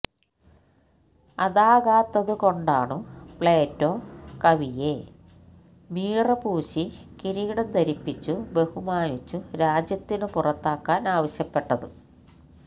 അതാകാത്തതുകൊണ്ടാണു Plato കവിയെ മീറ പൂശി കിരീടം ധരിപ്പിച്ചു ബഹുമാനിച്ചു രാജ്യത്തിനു പുറത്താക്കാന് ആവശ്യപ്പെട്ടത്